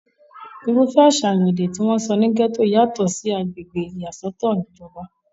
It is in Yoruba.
irúfẹ́ àṣàyàn èdè tí wọ́n ń sọ ní gẹ́tò yàtọ̀ sí ti agbègbè ìyàsọ́tọ̀ ìjọba